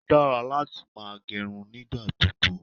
Ó dára láti máa gẹrun nígbà gbogbo.